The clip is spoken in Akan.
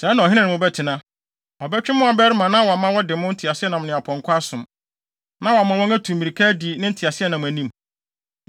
“Sɛɛ na ɔhene ne mo bɛtena. Ɔhene bɛtwe mo mmabarima na wama wɔde ne nteaseɛnam ne apɔnkɔ asom, na wama wɔn atu mmirika adi ne nteaseɛnam anim.